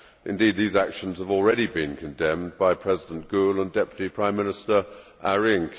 Indeed, these actions have already been condemned by President Gül and Deputy Prime Minister Arinc.